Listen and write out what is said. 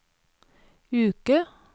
uke